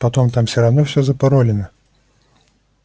потом там все равно запаролено